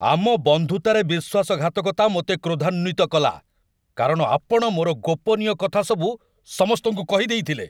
ଆମ ବନ୍ଧୁତାରେ ବିଶ୍ୱାସଘାତକତା ମୋତେ କ୍ରୋଧାନ୍ୱିତ କଲା, କାରଣ ଆପଣ ମୋର ଗୋପନୀୟ କଥାସବୁ ସମସ୍ତଙ୍କୁ କହିଦେଇଥିଲେ।